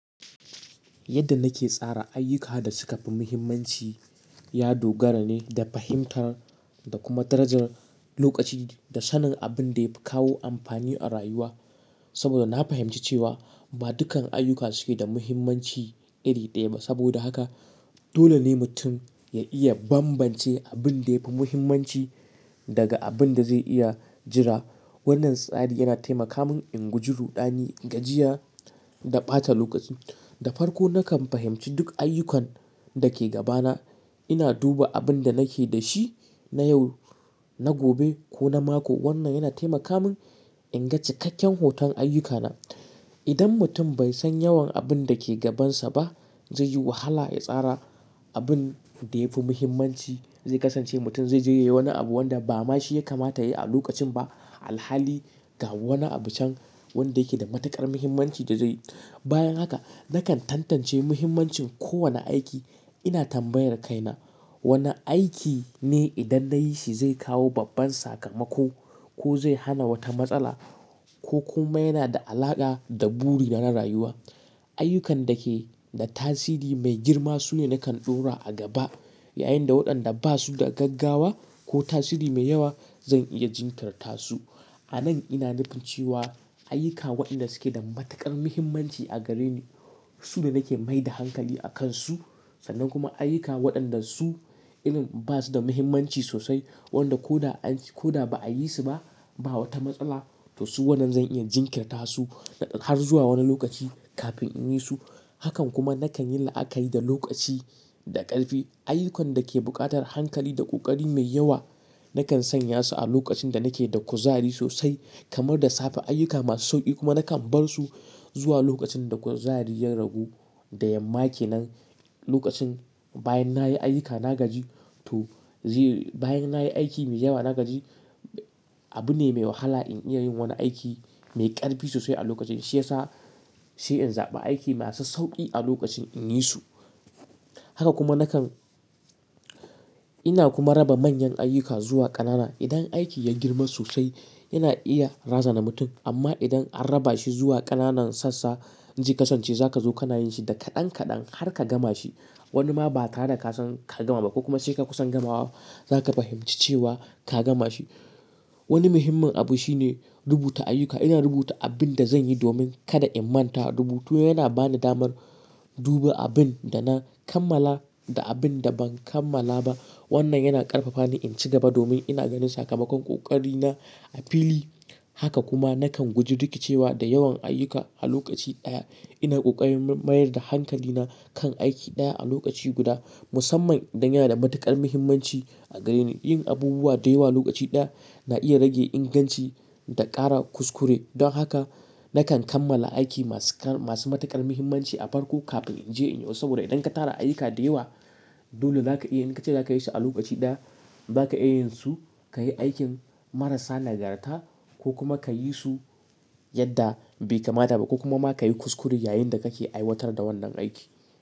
Yadda nake tsara ayyuka da sukafi muhimmanci, ya dogara ne da fahimtar da kuma darajar lokaci da sanin abin da ya fi kawo amfani a rayuwa. Saboda na fahimci cewa ba dukkan aiyuka duke da muhimmanci iri ɗaya ba. Saboda haka dole ne mutum ya iya bambance abin da yafi muhimmanci daga abin da zai iya jira. Wannan tsari yana taimaka min in guji ruɗani, gajiya da ɓata lokaci. Da farko nakan fahimci duk ayyukan da ke gabana. Ina duba abin da nake da shi na yau, na gobe ko na mako. Wannan yana taimaka min in ga cikakken hoton ayyukana. Idan mutum bai san yawan abin da ke gabansa ba, zai yi wahala ya tsara abin da yafi muhimmanci. Zai kasance mutum zaije yayi wani abu wanda ba ma shi ya kamata ya yi a lokacin ba. Alhali ga wani abu can wanda yake da matuƙar muhimmanci da zai yi. Bayan haka nakan tantance muhimmancin kowane aiki. Ina tambayar kaina wane aiki ne idan na yi shi zai kawo babban sakamako ko zai hana wata matsala ko kuma yana da alaƙa da buri na na rayuwa? Ayyukan da ke da tasiri mai girma sune nakan ɗora a gaba. Yayin da waɗanda ba su da gaggawa ko tasiri mai yawa zan iya jinkirtasu. A nan ina nufin cewa ayyuka waɗanda suke da matuƙar muhimmanci a gare ni su ne nake maida hankali a kansu. Sannan kuma aiyuka waɗanda su irin ba su da muhimmanci sosai wanda ko da an ko da ba a yi su ba, ba wata matsala. To su wannan zan iya jinkirtasu har zuwa wani lokaci kafin in yi su. Hakan kuma nakan yi la'akari da lokaci da ƙarfi. Ayyukan da ke buƙatar hankali da ƙoƙari mai yawa nakan sanya su a lokacin da nake da kuzari sosai kamar da safe. Ayyuka masu sauƙi kuma nakan bar su zuwa lokacin da kuzari ya ragu. Da yamma kenan lokacin bayan nayi aiyuka na gaji to zai bayan nayi aiki mai yawa na gaji. Abu ne mai wahala in iya yin wani aiki mai ƙarfi sosai a lokacin shi yasa sai in zaɓi aiki masu sauƙi a lokacin in yi su. Haka kuma nakan ina kuma raba manyan aiyuka zuwa ƙanana. Idan aiki ya girma sosai yana iya razana mutum amma idan an raba shi zuwa ƙananan sassa zai kasance za ka zo ka na yin shi da kaɗan kaɗan har ka gama shi. Wani ma ba tare da ka san ka gama ba ko kuma sai ka kusan gamawa za ka fahimci cewa ka gama shi. Wani muhimmin abu shine rubuta ayyuka. Ina rubuta abin da zan yi domin kada in manta. Rubutu yana bani damar duba abin da na kammala da abin da ban kammala ba. Wannan yana ƙarfafa ni in ci gaba domin ina ganin sakamakon ƙoƙari na a fili. Haka kuma nakan guji rikicewa da yawan aiyuka a lokaci ɗaya. Ina ƙoƙarin mayar da hankali na kan aiki ɗaya a lokaci guda musamman idan yana da matuƙar muhimmanci a gare ni. Yin abubuwa da yawa lokaci ɗaya na iya rage inganci da ƙara kuskure. Don haka nakan kammala aiki masu masu matuƙar muhimmanci a farko kafin in je in yo. Saboda idan ka tara ayyuka da yawa dole za ka iya in ka ce za ka yi su a lokaci ɗaya za ka iya yin su, ka yi aikin marasa nagarta ko kuma ka yi su yadda bai kamata ba ko kuma ma ka yi kuskure yayinda kake aiwatar da wannan aiki.